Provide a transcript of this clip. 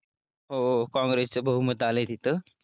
हो काँग्रेस चे बहुमत आलाय तिथं.